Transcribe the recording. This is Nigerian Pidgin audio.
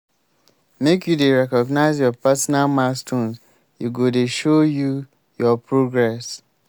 make you dey recognize your personal milestones e go dey show you your progress.